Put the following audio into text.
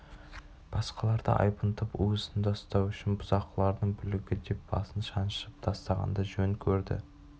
басқаларды айбынтып уысында ұстау үшін бұзақылардың бүлігі деп басып-шаншып тастағанды жөн көрді